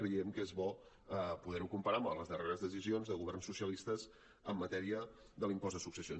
creiem que és bo poder ho comparar amb les darreres decisions de governs socialistes en matèria de l’impost de successions